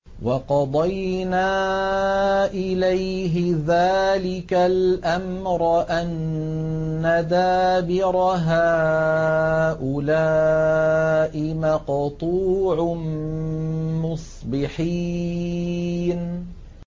وَقَضَيْنَا إِلَيْهِ ذَٰلِكَ الْأَمْرَ أَنَّ دَابِرَ هَٰؤُلَاءِ مَقْطُوعٌ مُّصْبِحِينَ